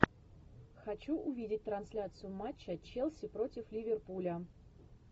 хочу увидеть трансляцию матча челси против ливерпуля